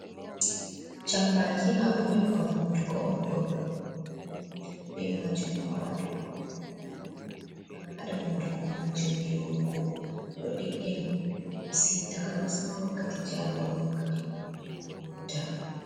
Jambaki maabo nyebbam hunduko on ɗo min ɗo naftira be majum haa waatugo ha hunduko amin ngam haɗa hunduko majum yorugo ɗo ɗiggina hunduko maasin takanasma wakkati jaangol wakkati ɗum hunduko yorata.